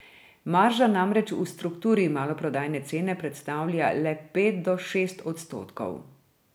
Marža namreč v strukturi maloprodajne cene predstavlja le pet do šest odstotkov.